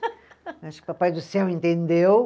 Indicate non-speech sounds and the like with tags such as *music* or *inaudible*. *laughs* Acho que o papai do céu entendeu.